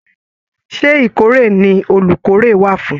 Ṣe ìkórè ní olukórè wà fún?